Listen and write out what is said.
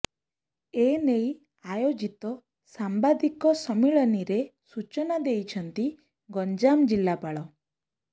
ଏନେଇ ଆୟୋଜିତ ସାମ୍ବାଦିକ ସମ୍ମିଳନୀରେ ସୂଚନା ଦେଇଛନ୍ତି ଗଞ୍ଜାମ ଜିଲ୍ଲାପାଳ